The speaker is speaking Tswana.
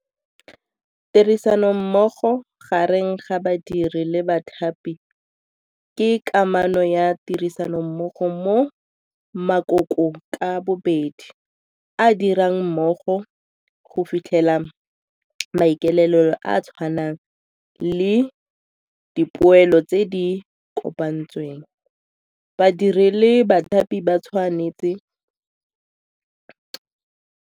Tirisanommogo gareng ga badiri le bathapi ke kamano ya tirisanommogo mo makokong ka bobedi a a dirang mmogo go fitlhela maikaelelo a a tshwanang le dipoelo tse di kopantsweng. Badiri le bathapi ba tshwanetse.